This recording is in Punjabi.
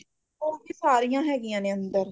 ਉਹ ਵੀ ਸਾਰੀਆ ਹੈਗਗੀਆ ਨੇ ਅੰਦਰ